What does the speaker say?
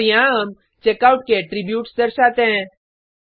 और यहाँ हम चेकआउट के एट्रीब्यूट्स दर्शाते हैं